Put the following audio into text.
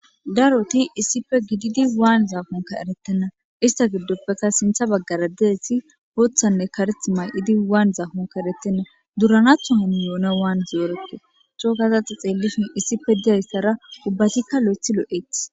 daroti issippe gididi waan zaafonka eretenna ista giddoppeka sintha baggara deesi ooththanne kareth may7idi waan zaafonka erettenna duuranatho ham yoone waan zoerekke cookazaxa xeellishin issife diyaystara ubbatikka lo7eth lo7ete